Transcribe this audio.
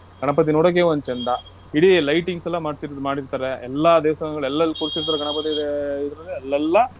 ಗಣಪತಿ ನೋಡೋಕೆ ಒಂದ್ ಚಂದಾ. ಇಡೀ lightings ಎಲ್ಲ ಮಾಡ್ಸಿ ಮಾಡಿರ್ತಾರೆ. ಎಲ್ಲಾ ದೇವಸ್ಥಾನಗಳಲ್ಲು ಎಲ್ಲೆಲ್ ಕೂರ್ಸಿರುತ್ತಾರೊ ಗಣಪತಿ ಅಲ್ಲೆಲ್ಲಾ.